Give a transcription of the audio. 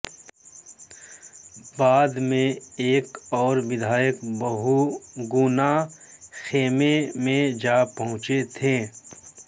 बाद में एक और विधायक बहुगुणा खेमे में जा पहुंचे थे